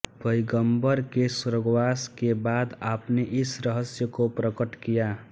पैगम्बर के स्वर्गवास के बाद आपने इस रहस्य को प्रकट किया